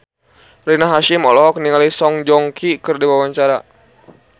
Rina Hasyim olohok ningali Song Joong Ki keur diwawancara